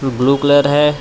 Blue colour है.